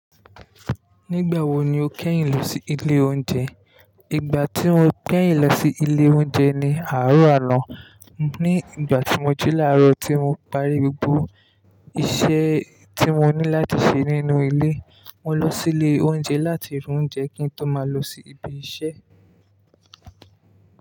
Nígbà wo ni o kẹ́yìn lọ sí ilé oúnjẹ? Ìgbà tí mo kẹ́yìn lọ sí ilé oúnjẹ ni àárọ̀ à no. Ní ìgbà tí mo jí láàrọ̀ tí mo parí gbogbo iṣẹ́ tí mo ní láti ṣe nínú ilé, mo lọ sí ilé oúnjẹ láti ra oúnjẹ kí n tó máa lọ sí ibi iṣẹ́.